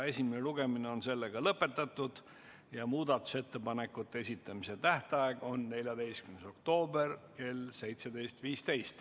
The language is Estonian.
Esimene lugemine on lõpetatud ja muudatusettepanekute esitamise tähtaeg on 14. oktoober kell 17.15.